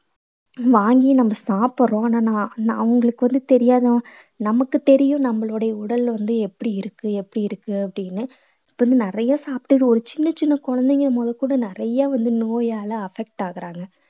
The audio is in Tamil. வாங்கி நம்ம சாப்பிடுறோம் ஆனா நா~ நா~ அவங்களுக்கு வந்து தெரியாத நமக்குத் தெரியும் நம்மளுடைய உடல்ல வந்து எப்படி இருக்கு எப்படி இருக்கு அப்படின்னு வந்து நிறைய சாப்பிட்டு இது ஒரு சின்னச் சின்ன குழந்தைங்க முதல் கூட நிறைய வந்து நோயால affect ஆகுறாங்க